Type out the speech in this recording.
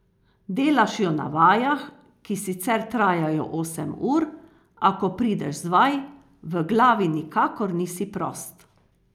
Delaš jo na vajah, ki sicer trajajo osem ur, a ko prideš z vaj, v glavi nikakor nisi prost.